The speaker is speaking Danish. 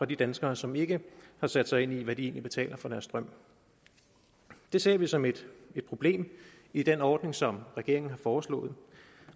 de danskere som ikke har sat sig ind i hvad de egentlig betaler for deres strøm det ser vi som et problem i den ordning som regeringen har foreslået